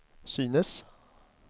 synes